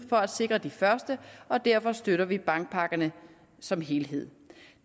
for at sikre de første og derfor støtter vi bankpakkerne som helhed